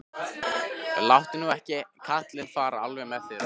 Láttu nú ekki kallinn fara alveg með þig, Rósa.